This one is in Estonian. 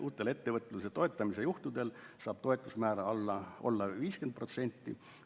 Uutel ettevõtluse toetamise juhtudel saab toetusmäär olla 50%.